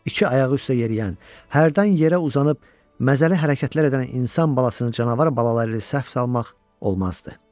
İki ayağı üstə yeriyən, hərdən yerə uzanıb məzəli hərəkətlər edən insan balasını canavar balası ilə səhv salmaq olmazdı.